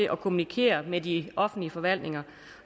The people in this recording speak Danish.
at kommunikere med de offentlige forhandlinger